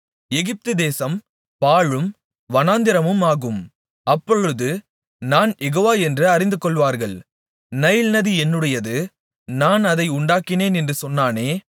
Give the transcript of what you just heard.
எகிப்துதேசம் பாழும் வனாந்திரமுமாகும் அப்பொழுது நான் யெகோவா என்று அறிந்துகொள்வார்கள் நைல் நதி என்னுடையது நான் அதை உண்டாக்கினேன் என்று சொன்னானே